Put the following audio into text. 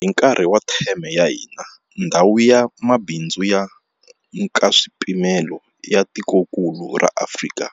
Hi nkarhi wa theme ya hina, Ndhawu ya Mabindzu ya Nkaswipimelo ya Tikokulu ra Afrika,